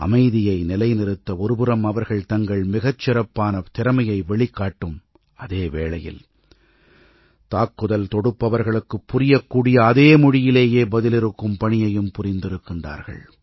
அமைதியை நிலைநிறுத்த ஒருபுறம் அவர்கள் தங்கள் மிகச்சிறப்பான திறமையை வெளிக்காட்டும் அதே வேளையில் தாக்குதல் தொடுப்பவர்களுக்குப் புரியக்கூடிய அதே மொழியிலேயே பதிலிறுக்கும் பணியையும் புரிந்திருக்கிறார்கள்